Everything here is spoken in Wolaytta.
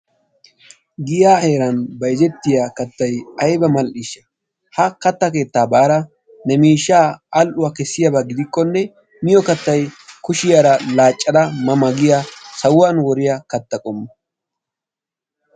Giyaa heeran bayzettiyaa kaattay ayibba mal'ishsha! Ha kaatta keetta baada ne miishsha al'uwaan kesiyaabba gidikkonne miyoo kaattay kushshiyara laacadda ma ma giyaa sawuwaani woriyaa kaatta qommo.